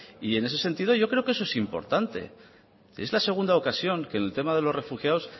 y en ese sentido yo creo que eso es importante es la segunda ocasión que en el tema de los refugiados